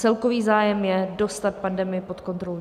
Celkový zájem je dostat pandemii pod kontrolu.